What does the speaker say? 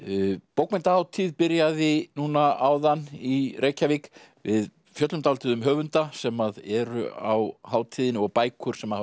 bókmenntahátíð byrjaði núna áðan í Reykjavík við fjöllum dálítið um höfunda sem eru á hátíðinni og bækur sem hafa